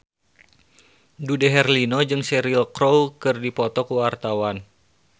Dude Herlino jeung Cheryl Crow keur dipoto ku wartawan